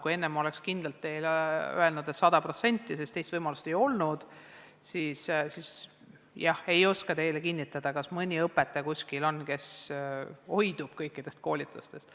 Kui enne oleks kindlalt teile öelnud, et osaleb sada protsenti, sest teist võimalust ei olnud, siis nüüd ei oska küll kinnitada, kas kuskil on mõni õpetaja, kes hoidub kõikidest koolitustest.